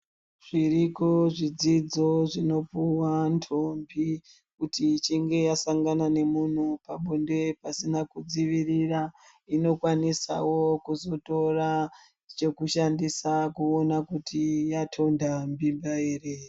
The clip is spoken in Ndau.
Zviriko zvidzidzo zvinopuwa ntombi, kuti ichinge asangana nemuntu pabonde pasina kudzivirira, inokwanisawo kuzotora chekushandisa kuwona kuti yatonda mimba ere.